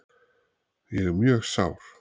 Ég er mjög sár.